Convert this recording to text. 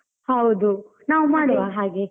ಹೌದು ನಾವು ಮಾಡುವ ಹಾಗೆ.